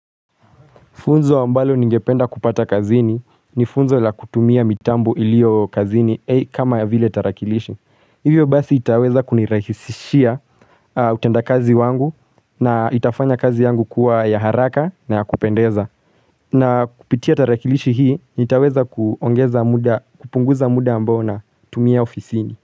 Funzo ambalo ningependa kupata kazini ni funzo la kutumia mitambo ilio kazini kama ya vile tarakilishi. Hivyo basi itaweza kunirahisishia utenda kazi wangu na itafanya kazi yangu kuwa ya haraka na ya kupendeza. Na kupitia tarakilishi hii nitaweza kupunguza muda ambao na tumia ofisini.